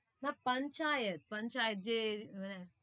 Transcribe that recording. না যে মানে